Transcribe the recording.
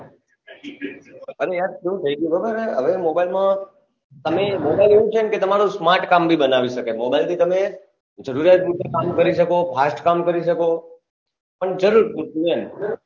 અરે યાર કેવું થઇ ગયું ખબર હે હવે mobile માં તમે mobile નું એવું છે તમે પોતાનો smart કામ ભી બનાવી શકો mobile થી તમે જરૂરિયાત પુરતો કામ કરી શકો fast કામ કરી શકો જરૂર પુરતું એમ